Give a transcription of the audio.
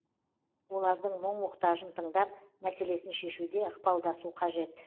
олардың мұң мұқтажын тыңдап мәселесін шешуде ықпалдасу қажет